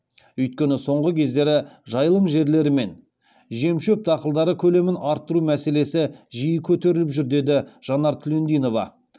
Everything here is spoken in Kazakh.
өйткені соңғы кездері жайылым жерлері мен жем шөп дақылдары көлемін арттыру мәселесі жиі көтеріліп жүр деді жанар түлендинова